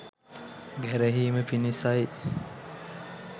ගැරහීම පිණිසයි.